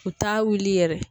U t'a wuli yɛrɛ.